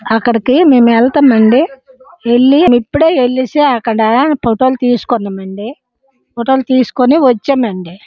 అక్కడికి మేము వెళ్తామండి. వెళ్ళి ఇప్పుడే ఇప్పుడే ఎలిసి అక్కడ ఫోటో లు తీసుకున్నమండీ. ఫోటో లు తీసుకొని వచ్చామండి.